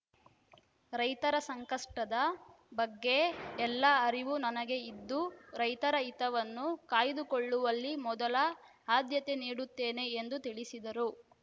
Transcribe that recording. ರೈತರ ಸಂಕಷ್ಟದ ಬಗ್ಗೆ ಎಲ್ಲಾ ಅರಿವು ನನಗೆ ಇದ್ದು ರೈತರ ಹಿತವನ್ನು ಕಾಯ್ದುಕೊಳ್ಳುವಲ್ಲಿ ಮೊದಲ ಆದ್ಯತೆ ನೀಡುತ್ತೇನೆ ಎಂದು ತಿಳಿಸಿದರು